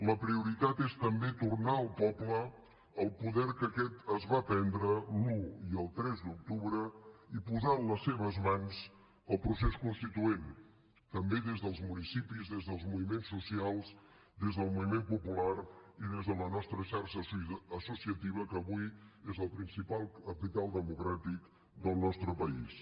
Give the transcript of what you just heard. la prioritat és també tornar al poble el poder que aquest es va prendre l’un i el tres d’octubre i posar en les seves mans el procés constituent també des dels municipis des dels moviments socials des del moviment popular i des de la nostra xarxa associativa que avui és el principal capital democràtic del nostre país